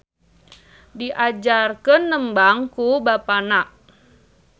Diajarkeun nembang ku bapana.